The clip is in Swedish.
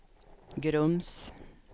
Grums